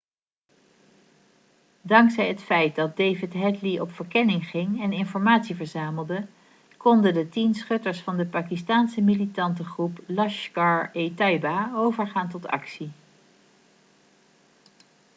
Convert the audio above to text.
dankzij het feit dat david headly op verkenning ging en informatie verzamelde konden de 10 schutters van de pakistaanse militantengroep laskhar-e-taiba overgaan tot actie